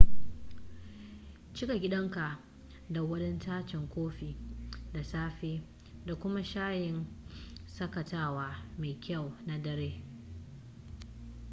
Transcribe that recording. cika gidanka da wadataccen kofi da safe da kuma shayin shakatawa mai kyau na dare